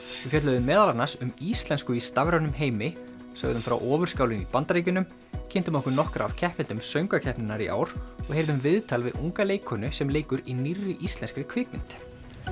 við fjölluðum meðal annars um íslensku í stafrænum heimi sögðum frá ofur skálinni í Bandaríkjunum kynntum okkur nokkra af keppendum söngvakeppninnar í ár og heyrðum viðtal við unga leikkonu sem leikur í nýrri íslenskri kvikmynd